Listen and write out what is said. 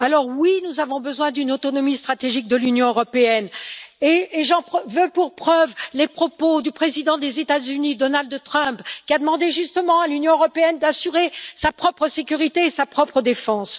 Oui, nous avons besoin d'une autonomie stratégique de l'Union européenne, et j'en veux pour preuve les propos du président des États Unis, Donald Trump, qui a demandé à l'Union européenne d'assurer sa propre sécurité et sa propre défense.